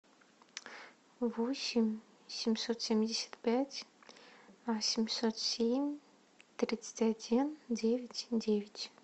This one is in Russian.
восемь семьсот семьдесят пять семьсот семь тридцать один девять девять